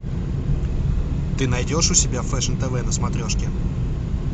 ты найдешь у себя фэшн тв на смотрешке